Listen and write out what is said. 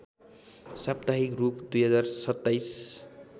साप्ताहिक रूप २०२७